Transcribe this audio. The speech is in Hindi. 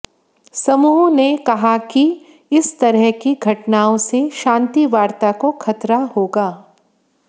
समूह ने कहा कि इस तरह की घटनाओं से शांति वार्ता को खतरा होगा